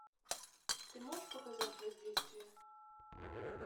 ты можешь показать воздействие